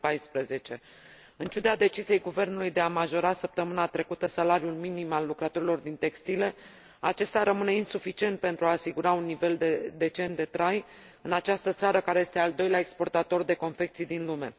2014. În ciuda deciziei guvernului de a majora, săptămâna trecută, salariul minim al lucrătorilor din sectorul textilelor, acesta rămâne insuficient pentru a asigura un nivel decent de trai în această țară, care este al doilea exportator de confecții din lume.